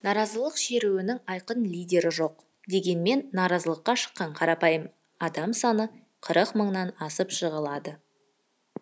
наразылық шерудің айқын лидері жоқ дегенмен наразылыққа шыққан қарапайым адам саны қырық мыңнан асып жығылады